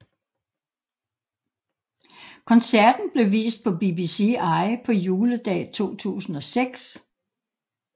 Koncerten blev vist på BBCi på Juledag 2006